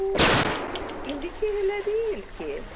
Bu indiki elə deyil ki.